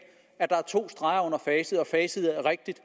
at der er to streger under facit at facit er rigtigt